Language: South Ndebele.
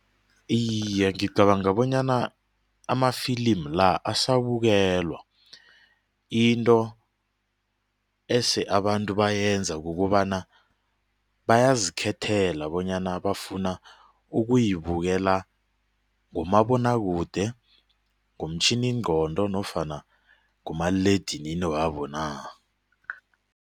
Iye, ngicabanga bonyana amafilimu la asabukelwa into ese abantu bayenza kukobana bayazikhethela bonyana bafuna ukuyibukela ngomabonwakude, ngomtjhiningqondo nofana ngomaliledinini wabo na.